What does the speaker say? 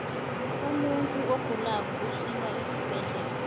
umunfu ogulako usiwa esibhedlela